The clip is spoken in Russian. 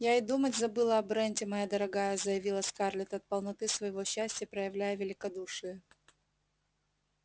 я и думать забыла о бренте моя дорогая заявила скарлетт от полноты своего счастья проявляя великодушие